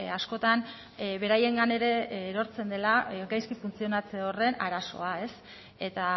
askotan beraiengan ere erortzen dela gaizki funtzionatze horren arazoa eta